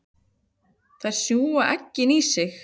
Þær sjúga eggin inn í sig.